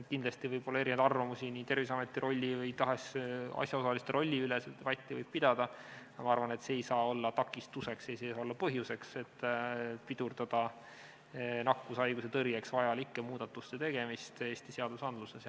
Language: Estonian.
Kindlasti võib olla erinevaid arvamusi nii Terviseameti rolli või mis tahes asjaosaliste rolli kohta, seda debatti võib pidada, aga ma arvan, et see ei saa olla takistuseks ja see ei saa olla põhjuseks, et pidurdada nakkushaiguse tõrjeks vajalike muudatuste tegemist Eesti seadustes.